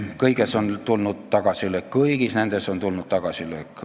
Kõigis nendes asjades on tulnud tagasilöök.